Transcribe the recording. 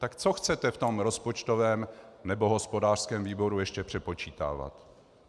Tak co chcete v tom rozpočtovém nebo hospodářském výboru ještě přepočítávat?